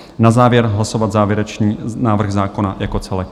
Na závěr hlasovat závěrečný návrh zákona jako celek.